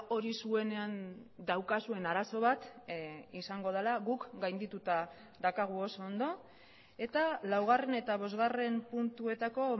hori zuenean daukazuen arazo bat izango dela guk gaindituta daukagu oso ondo eta laugarren eta bosgarren puntuetako